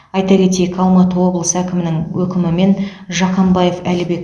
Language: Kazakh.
айта кетейік алматы облысы әкімінің өкімімен жақанбаев әлібек